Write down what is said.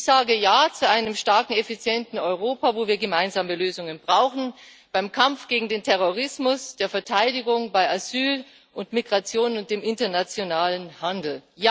Ich sage Ja zu einem starken, effizienten Europa, wo wir gemeinsame Lösungen brauchen beim Kampf gegen den Terrorismus, bei der Verteidigung, bei Asyl und Migration und dem internationalen Handel.